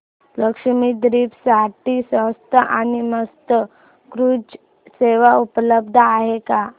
लक्षद्वीप साठी स्वस्त आणि मस्त क्रुझ सेवा उपलब्ध आहे का